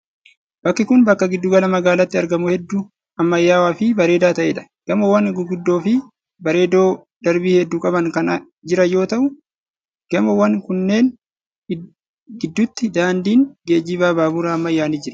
Bakki kun bakka giddu gala magaalaatti argamuu hedduu ammayyawaa fi bareedaa ta'ee dha. Gamoowwan guguddoo fi bareedoo darbii hedduu qaban kan jiran yoo ta'u, gamoowwan kanneen gidduutti daandiin geejiba baaburaa ammayyaan ni jira.